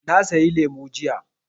Na sayi lemu jiya.